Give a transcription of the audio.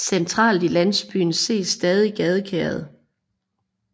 Centralt i landsbyen ses stadig gadekæret